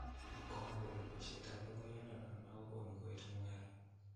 Komwa kole baishet ap logoyat ndanotok kokonu koet mung'areet